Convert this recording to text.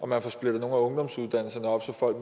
man får splittet nogle af ungdomsuddannelserne op så folk